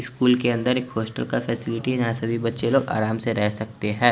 इस स्कूल के अंदर एक हॉस्टल की फेसिलिटी हैं जहाँ सभी बच्चे लोग आराम से रह सकते हैं।